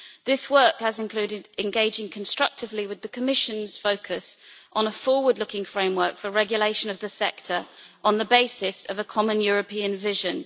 This work has included engaging constructively with the Commission's focus on a forward looking framework for regulation of the sector on the basis of a common European vision.